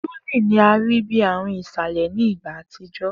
Drooling ni a rii bi aarun isalẹ ni igba atijọ